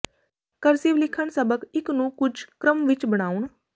cursive ਲਿਖਣ ਸਬਕ ਇੱਕ ਨੂੰ ਕੁਝ ਕ੍ਰਮ ਵਿੱਚ ਬਣਾਉਣ